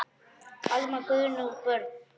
Almar, Guðrún og börn.